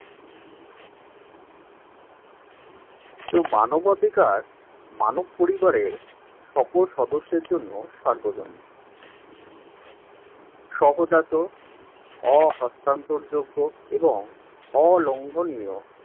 তো মানবাধিকার মানব পরিবারের সকল সদস্যের জন্য সার্বজনীন সহজাত অহস্তান্তরযোগ্য এবং অলম্ভনীয়